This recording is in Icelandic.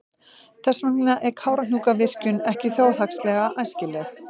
Þess vegna er Kárahnjúkavirkjun ekki þjóðhagslega æskileg.